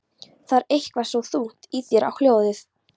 Það er eitthvað svo þungt í þér hljóðið.